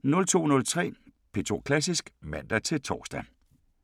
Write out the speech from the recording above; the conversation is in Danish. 02:03: P2 Klassisk (man-tor)